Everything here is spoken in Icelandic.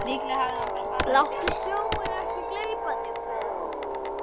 Láttu sjóinn ekki gleypa þig, biður hún.